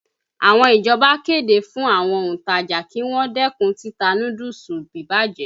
Àwọn ìjọba kéde fún àwọn òntajà kí wọ́n dẹ́kun títa núdúùsù bíbàjẹ́.